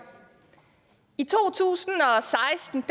i to tusind og seksten